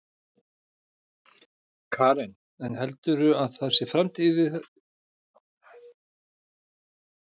Karen: En heldurðu að það sé framtíð í þessu núna?